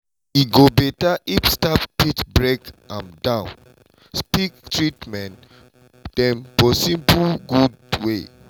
e go beta if staff fit break am down speak treatmen dem for simple good way.